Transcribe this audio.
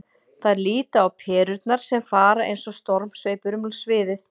Þær líta á perurnar sem fara eins og stormsveipur um sviðið.